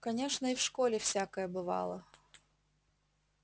конечно и в школе всякое бывало